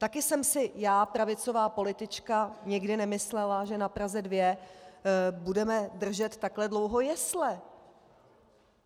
Taky jsem si já pravicová politička nikdy nemyslela, že na Praze 2 budeme držet takhle dlouho jesle.